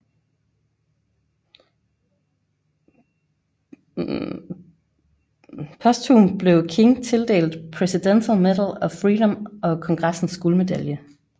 Posthumt blev King tildelt Presidential Medal of Freedom og Kongressens guldmedalje